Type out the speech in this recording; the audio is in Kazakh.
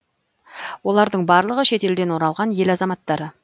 олардың барлығы шетелден оралған ел азаматтары